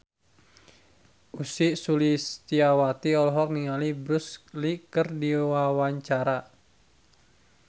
Ussy Sulistyawati olohok ningali Bruce Lee keur diwawancara